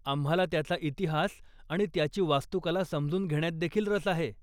आम्हाला त्याचा इतिहास आणि त्याची वास्तूकला समजून घेण्यातदेखील रस आहे.